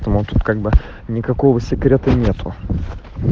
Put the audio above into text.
смотрит как бы никакого секрета нету